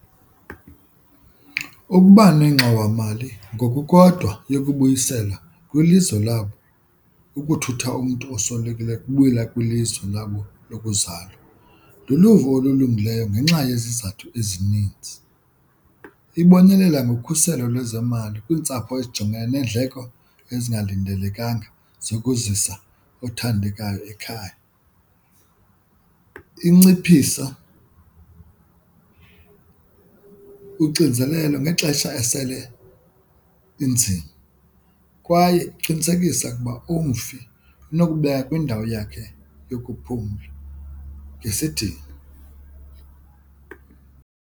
Ukuba nengxowamali ngoku kodwa yokubuyisela kwilizwe labo, ukuthutha umntu oswelekileyo ukubuyela kwilizwe labo lokuzalwa luluvo olulungileyo ngenxa yezizathu ezininzi. Ibonelela ngokhuselo lwezemali kwiintsapho ezijongene neendleko ezingalindelekanga zokuzisa othandekayo ekhaya, inciphisa uxinzelelo ngexesha esele inzima kwaye kuqinisekisa ukuba umfi unokubekwa kwindawo yakhe yokuphumla ngesidima.